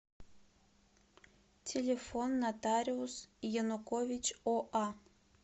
телефон нотариус янукович оа